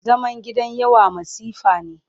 Zaman gidan yawa masifa ne.